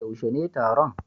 yaushe ne taron?